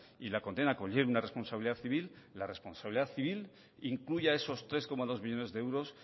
y la condena conlleve una responsabilidad civil la responsabilidad civil incluya esos tres coma dos millónes de euros